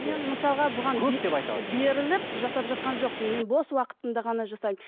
мен мысалға бұған беріліп жасап жатқан жоқпын мен бос уақытымда ғана жасаймын